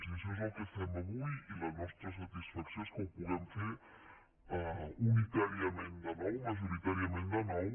i això és el que fem avui i la nostra satisfacció és que ho puguem fer unitàriament de nou majoritàriament de nou